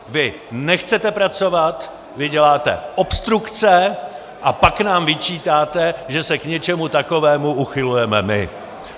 Vy nechcete pracovat, vy děláte obstrukce, a pak nám vyčítáte, že se k něčemu takovému uchylujeme my!